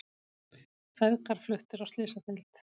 Feðgar fluttir á slysadeild